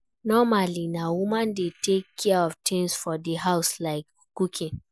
Normally na woman dey take care of things for di house like cooking